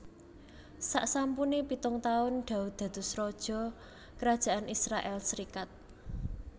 Saksampune pitung taun Daud dados raja Kerajaan Israèl serikat